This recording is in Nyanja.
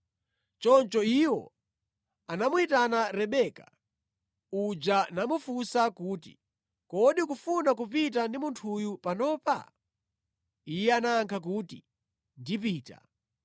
Choncho iwo anamuyitana Rebeka uja namufunsa kuti, “Kodi ukufuna kupita ndi munthuyu panopa?” Iye anayankha kuti, “Ndipita.”